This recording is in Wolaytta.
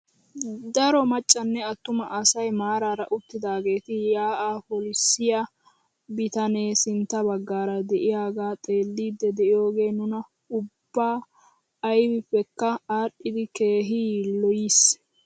Daro maccanne attuma asay maarara uttidaageti yaa'aa polissiyaa bitanee sintta baggaara de'iyaagaa xeellidi de'iyoogee nuna ubba aybipekka adhiidi keehi yiiloyiis!